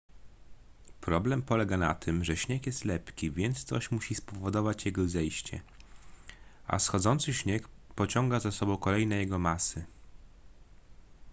problem polega na tym że śnieg jest lepki więc coś musi spowodować jego zejście a schodzący śnieg pociąga za sobą kolejne jego masy